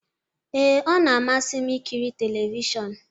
Ee, ọ na-amasị m ikiri telivishọn.